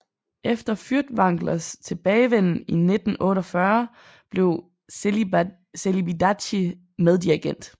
Efter Fürtwanglers tilbagevenden i 1948 blev Celibidache meddirigent